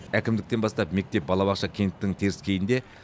әкімдіктен бастап мектеп балабақша кенттің теріскейінде